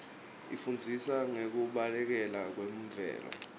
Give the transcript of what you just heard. isifundzisa ngekubaluleka kwemvelo